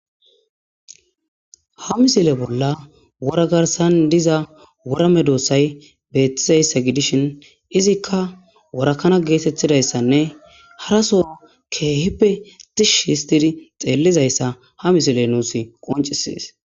Ha misile bola Wora garisani diza wora medoosayi betizayisa gidishshin izikka worakana getetizayisaanne hara sooho kehippe tishshi hisiti xelizaysa ha misileyi nusi qoncisesi